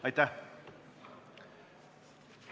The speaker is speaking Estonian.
Aitäh!